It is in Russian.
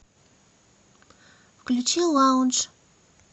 включи лаундж